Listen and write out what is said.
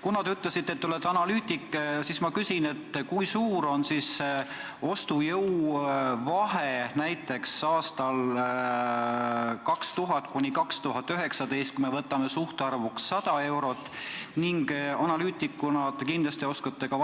Kuna te ütlesite, et olete analüütik, siis ma küsin, et kui suur on raha ostujõud näiteks aastatel 2000–2019, kui me võtame suhtarvuks 100 eurot, ning analüütikuna oskate kindlasti